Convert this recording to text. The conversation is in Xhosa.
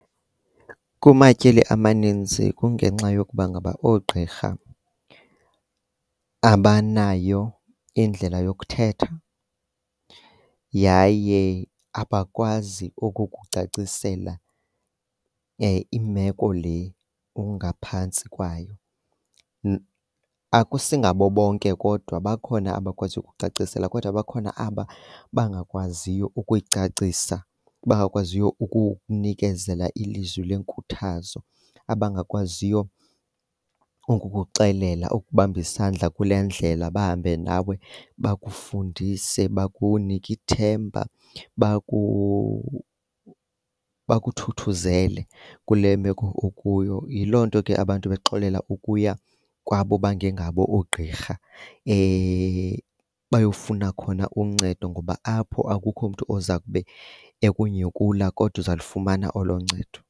Kumatyeli amaninzi kungenxa yokuba ngaba oogqirha abanayo indlela yokuthetha yaye abakwazi ukukucacisela imeko le ungaphantsi kwayo. Akusingabo bonke kodwa bakhona abakwaziyo ukukucacisela, kodwa bakhona aba bangakwaziyo ukuyicacisa, bangakwaziyo ukunikezela ilizwi lenkuthazo. Abangakwaziyo ukukuxelela, ukukubamba isandla kule ndlela bahambe nawe bakufundise, bakunike ithemba bakuthuthuzele kule meko ukuyo. Yiloo nto ke abantu bexolela ukuya kwabo bangengabo oogqirha bayofuna khona uncedo ngoba apho akukho mntu oza kube ekunyhukula kodwa uza lufumana olo ncedo.